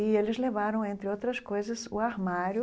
E eles levaram, entre outras coisas, o armário.